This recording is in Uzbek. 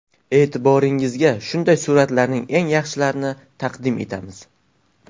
E’tiboringizga shunday suratlarning eng yaxshilarini taqdim etamiz.